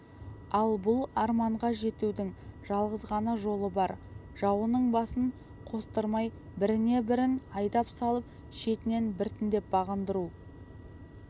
ал бұл арманға жетудің жалғыз ғана жолы бар жауыңның басын қостырмай біріне бірін айдап салып шетінен біртіндеп бағындыру